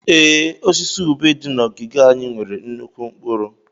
Ee, osisi ube dị na ogige anyị nwere nnukwu mkpụrụ.